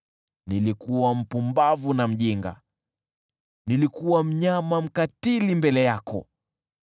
nilikuwa mpumbavu na mjinga, nilikuwa mnyama mkatili mbele yako.